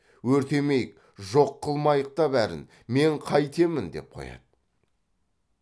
өртемейік жоқ қылмайық та бәрін мен қайтемін деп қояды